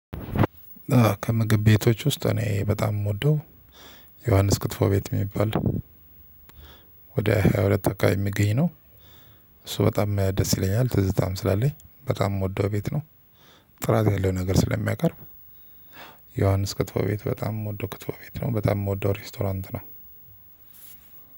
ከምግብ ቤቶች ውስጥ እኔ በጣም የምወደው ዮሐንስ ክትፎ ቤት የሚባል ወደ ሃያ ሁለት አካባቢ የሚገኝ ነው። እሱ በጣም ደስ ይለኛል ትዝታም ስላለኝ በጣም የምወደው ቤት ነው። ጥራት ያለው ነገር ስለሚያቀርብ። ዮሐንስ ክትፎ ቤት በጣም የምወድው ክትፎ ቤት ነው በጣም የምወደው ሬስቶራንት ነው።